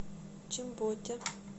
чимботе